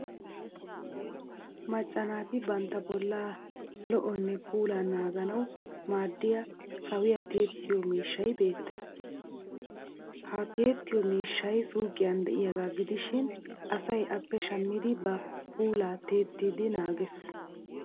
Macca naati bantta bollaa lo'onne puulan naaganawu maaddiya sawiya tiyettiyo miishshay beettes. Ha tiyettiyo miishshay suuqiyan de'iyaagaa gidishin asay appe shammidi ba puulaa tiyettidi naages.